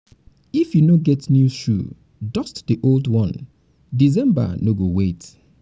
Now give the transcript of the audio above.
if you no get new shoe dust new shoe dust the old one december no go wait!